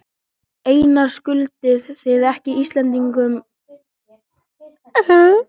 Einar, skuldið þið ekki íslenskum neytendum afsökunarbeiðni vegna þessara brota?